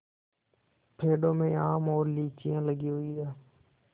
पेड़ों में आम और लीचियाँ लगी हुई हैं